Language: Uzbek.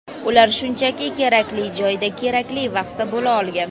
Ular shunchaki kerakli joyda kerakli vaqtda bo‘la olgan.